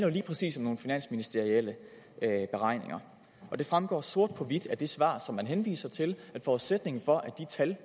jo lige præcis om nogle finansministerielle beregninger og det fremgår sort på hvidt af det svar som man henviser til at forudsætningen for at de tal